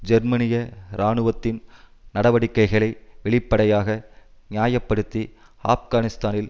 ஜெர்மனிய இராணுவத்தின் நடவடிக்கைகளை வெளிப்படையாக நியாய படுத்தி ஆப்கானிஸ்தானில்